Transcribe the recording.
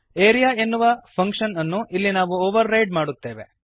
area ಎನ್ನುವ function ಅನ್ನು ಇಲ್ಲಿ ನಾವು ಓವರ್ ರೈಡ್ ಮಾಡುತ್ತೇವೆ